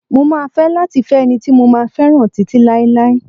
Mo máa fẹ́ láti fẹ́ ẹni tí mo máa fẹ́ràn títí láéláé.